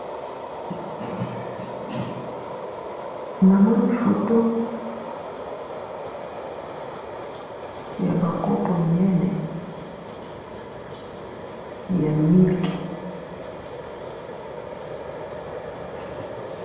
Namoni photo yaba kopo minene ya milk,